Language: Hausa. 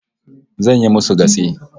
Zan yi musu gatse